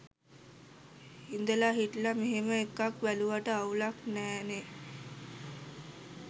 ඉදලා හිටලා මෙහෙම ‍එකක් බැලුවට අවුලක් නෑනේ?